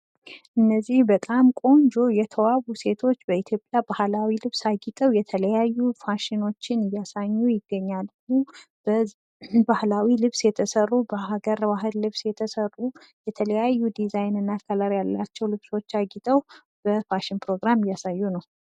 እነዚህ በጣም ቆንጆ የተዋቡ ሴቶች በኢትዮጵያ ባህላዊ ልብስ አጊጠው የተለያዩ ፋሽኖችን እያሳዩ ይገኛሉ። በሀገር ባህል ልብስ የተሰሩ የተለያዩ ድዛይንና ከለር ያላቸው ልብሶች አጊጠው በፋሽን ፕሮግራም እያሳዩ ነው።